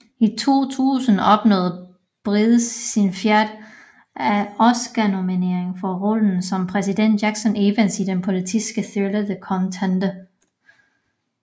I 2000 opnåede Bridges sin fjerde Oscarnominering for rollen som præsidenten Jackson Evans i den politiske thriller The Contender